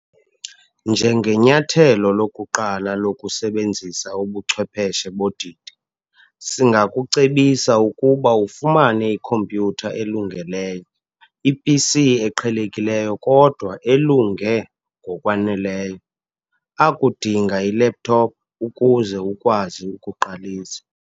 Njengenyathelo lokuqala lokusebenzisa ubuchwepheshe bodidi, singakucebisa ukuba ufumane ikhompyutha elungeleyo - iPC eqhelekileyo kodwa elunge ngokwaneleyo, akudinga i-laptop ukuze ukwazi ukuqalisa.